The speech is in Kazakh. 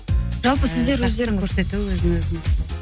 жалпы сіздер өздеріңіз көрсету өзін өзін